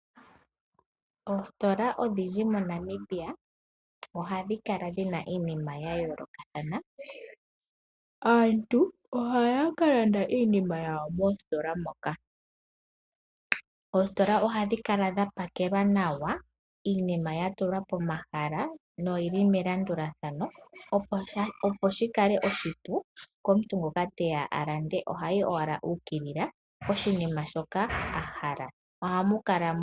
Oositola odhindji moNamibia ohadhi kala dhi na iinima ya yoolokathana. Aantu ohaya ka landa iinima yawo moositola moka. Oositola ohadhi kala dha pakelwa nawa, iinima ya tulwa pomahala noyi li melandulathano, opo shi kale oshipu komuntu ngoka teya a lande. Oha yi owala u ukilila poshinima shoka a hala.